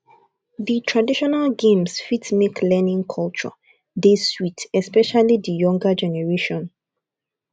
di traditional games fit make learning culture dey sweet especially di younger generation